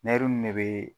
nin ne bee